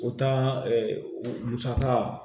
O taa musaka